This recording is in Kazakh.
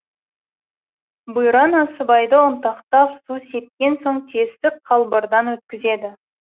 бұйра насыбайды ұнтақтап су сепкен соң тесік қалбырдан өткізеді